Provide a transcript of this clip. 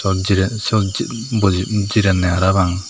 jiren syot boji pra pang.